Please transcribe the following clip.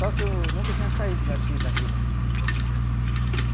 Só que eu nunca tinha saído daqui, da vila.